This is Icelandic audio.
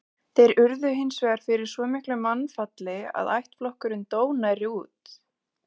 Þeir urðu hins vegar fyrir svo miklu mannfalli að ættflokkurinn dó nærri út.